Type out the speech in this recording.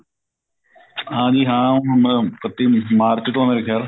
ਹਾਂਜੀ ਹਾਂ ਹੁਣ ਇੱਕਤੀ ਮਾਰਚ ਤੋਂ ਮੇਰੇ ਖਿਆਲ